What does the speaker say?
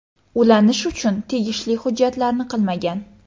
Ulanish uchun tegishli hujjatlarni qilmagan.